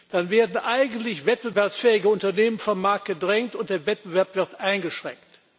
Dann werden eigentlich wettbewerbsfähige Unternehmen vom Markt gedrängt, und der Wettbewerb wird eingeschränkt.